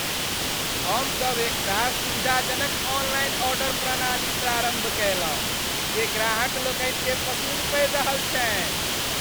हमसभ एकटा सुविधाजनक ऑनलाइन ऑर्डर प्रणाली प्रारम्भ कयलहुँ जे ग्राहक लोकनि केँ पसिन्न पड़ि रहल छन्हि ।